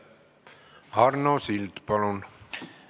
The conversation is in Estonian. Arno Sild, palun!